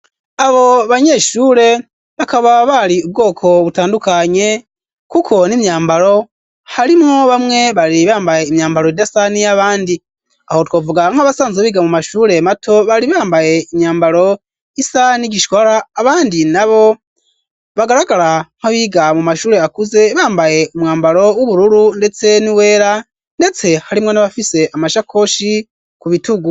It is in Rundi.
Abo banyeshure bakaba bari ubwoko butandukanye kuko n'imyambaro harimwo bamwe bari bambaye imyambaro idasa niya bandi aho twavuga nk'abasanzwe biga mu mashure mato bari bambaye imyambaro isani n'igishwara abandi nabo bagaragara nkabiga mu mashure akuze bambaye umwambaro w'ubururu ndetse n'iyera ndetse harimwo na bafise amashakoshi ku bitugu.